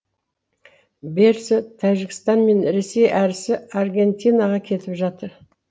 берісі тәжікстан мен ресей әрісі аргентинаға кетіп жатыр